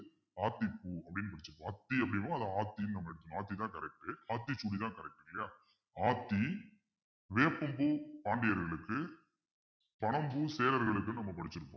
ஆத்திப்பூ அப்பிடின்னு படிச்சிருப்போம் ஆத்தி அப்பிடின்னா அது ஆத்தின்னு ஆத்திதான் correct ஆத்திச்சூடிதான் correct இல்லையா ஆத்தி வேப்பம்பூ பாண்டியர்களுக்கு பனம் பூ சேரர்களுக்குன்னு நம்ம படிச்சிருப்போம்